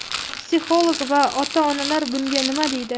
psixolog va ota-onalar bunga nima deydi?.